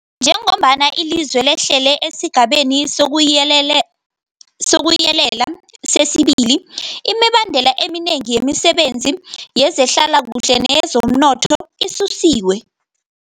Njengombana ilizwe lehlela esiGabeni sokuYelela sesi-2, imibandela eminengi yemisebenzi yezehlalakuhle neyezomnotho isusiwe.